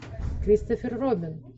кристофер робин